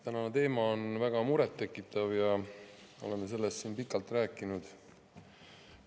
Tänane teema on väga murettekitav ja oleme sellest siin pikalt rääkinud.